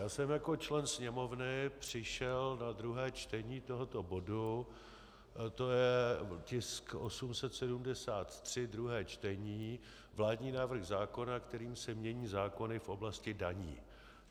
Já jsem jako člen Sněmovny přišel na druhé čtení tohoto bodu, to je tisk 873, druhé čtení, vládní návrh zákona, kterým se mění zákony v oblasti daní.